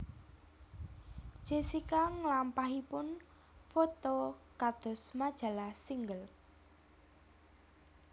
Jessica nglampahipun foto kados majalah Single